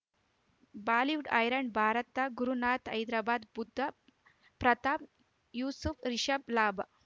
Bollywood ಹೈರಾಣ್ ಭಾರತ ಗುರುನಾಥ ಹೈದರಾಬಾದ್ ಬುಧ ಪ್ರತಾಪ್ ಯೂಸುಫ್ ರಿಷಬ್ ಲಾಭ